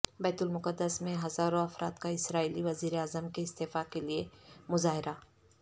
بیت المقدس میں ہزاروں افراد کا اسرائیلی وزیراعظم کےاستعفے کےلیے مظاہرہ